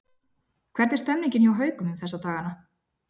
Hvernig er stemningin hjá Haukum um þessa dagana?